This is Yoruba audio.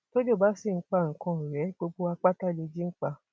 tọjọ bá sì ń pa ikán ọrẹ gbogbo wa pátá lèji ń pa